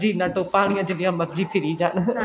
ਜੀਨਾ ਤੋਪਾਂ ਆਲਿਆ ਜਿੰਨੀ ਮਰਜੀਆ ਫਿਰੀ ਜਾਨ